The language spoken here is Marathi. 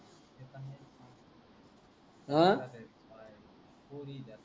अ तसच राहते पोरी त्या.